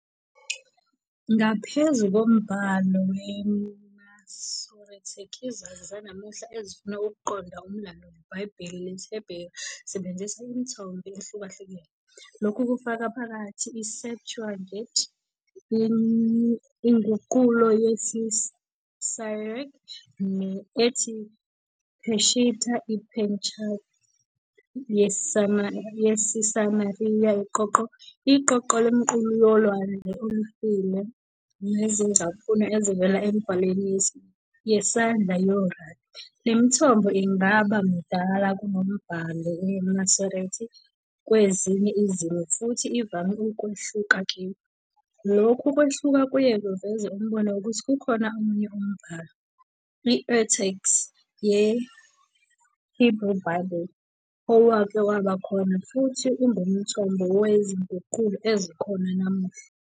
Ngaphezu kombhalo weMasoretic, izazi zanamuhla ezifuna ukuqonda umlando weBhayibheli lesiHeberu zisebenzisa imithombo ehlukahlukene. Lokhu kufaka phakathi i-Septuagint, inguqulo yesiSyriac ethi Peshitta, iPentateuch yaseSamariya, iqoqo lemiQulu yoLwandle Olufile nezingcaphuno ezivela emibhalweni yesandla yorabi. Le mithombo ingaba mdala kunoMbhalo weMasorete kwezinye izimo futhi ivame ukwehluka kuyo. Lokhu kwehluka kuye kwaveza umbono wokuthi kukhona omunye umbhalo, i- Urtext ye-Hebrew Bible, owake waba khona futhi ungumthombo wezinguqulo ezikhona namuhla.